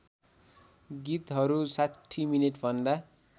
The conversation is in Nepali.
गीतहरू ६० मिनेटभन्दा